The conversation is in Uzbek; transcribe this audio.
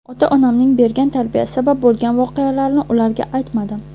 Ota-onamning bergan tarbiyasi sabab bo‘lgan voqealarni ularga aytmadim.